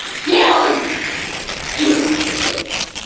где он ой блядь